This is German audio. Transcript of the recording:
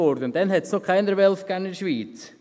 Damals gab es noch keine Wölfe in der Schweiz.